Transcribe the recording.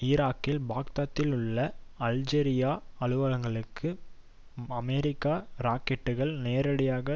ஈராக்கில் பாக்தாத்திலுள்ள அல்ஜெசீரா அலுவலகங்களில் அமெரிக்க ராக்கெட்டுக்கள் நேரடியாக